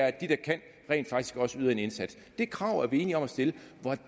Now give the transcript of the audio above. at de der kan rent faktisk også yder en indsats det krav er vi enige om at stille